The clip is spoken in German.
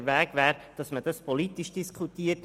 Richtig wäre, dass man das politisch diskutiert.